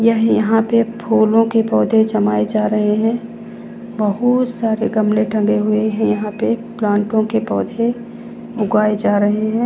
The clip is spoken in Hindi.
यही यहां पे फूलों के पौधे जमाए जा रहे हैं बहुत सारे गमले टंगे हुए हैं यहां पे प्लांटो के पौधे उगाए जा रहे हैं।